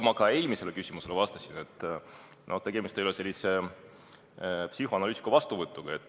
Nagu ma eelmisele küsimusele vastates ütlesin, et tegemist ei ole sellise psühhoanalüütiku vastuvõtuga.